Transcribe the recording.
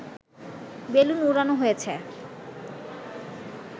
balloon উড়ানো হয়েছে